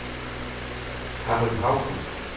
Harry Hauge